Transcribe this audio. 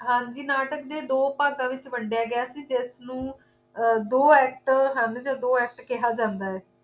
ਹਾਂਜੀ ਨਾਟਕ ਦੇ ਦੋ ਭਾਗਾਂ ਵਿੱਚ ਵੰਡਿਆ ਗਿਆ ਸੀ ਜਿਸ ਨੂੰ ਅਰ ਦੋ act ਹਨ ਜਾਂ ਦੋ act ਕਿਹਾ ਜਾਦਾ ਹੈ